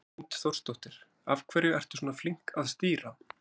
Hrund Þórsdóttir: Af hverju ertu svona flink að stýra?